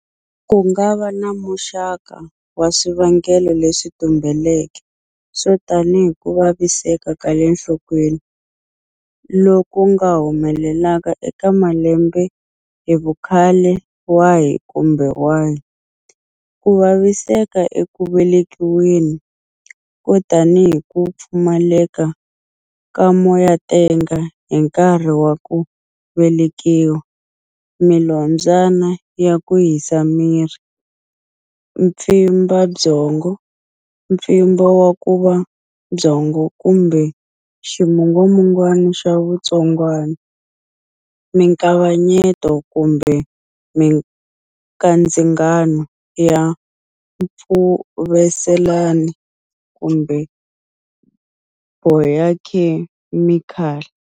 Ku nga va na muxaka wa swivangelo leswi tumbeleke swo tanihi ku vaviseka ka le nhlokweni, loku ku nga humelelaka eka malembe hi vukhale wahi kumbe wahi, ku vaviseka eku velekiweni, ko tanihi ku pfumaleka ka moyatenga hi nkarhi wa ku velekiwa, milombyana ya ku hisa miri, mpfimbabyongo, mpfimbo wa nkuva wa byongo kumbe ximungwamungwana xa vutsongwana, mikavanyeto kumbe mikandzingano ya mpfuvelaseleni kumbe bayokhemikali.